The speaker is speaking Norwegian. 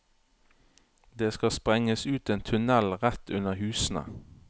Det skal sprenges ut en tunnel rett under husene.